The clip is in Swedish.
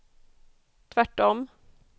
tvärtom